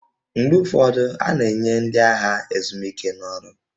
Mgbe ụfọdụ, a na-enye ndị agha ezumike n'ọrụ